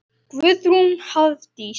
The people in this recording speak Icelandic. Guðrún Hafdís.